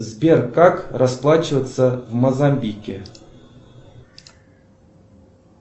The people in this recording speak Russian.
сбер как расплачиваться в мозамбике